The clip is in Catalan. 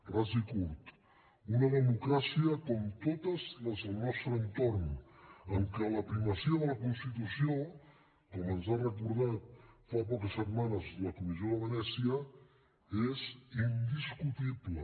ras i curt una democràcia com totes les del nostre entorn en què la primacia de la constitució com ens ha recordat fa poques setmanes la comissió de venècia és indiscutible